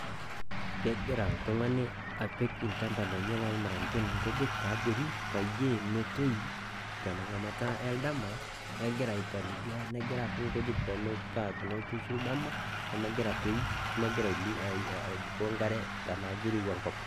Kegira apiik ilchambai lenye lolmalenken apiik inkujit tiabori peyie metoyu tengata olamei egira aipalilia negira apik inkujit paa tenerrishu ildama nemegira atoyu neemegira aibukoo enkare tenaa kirowua enkop.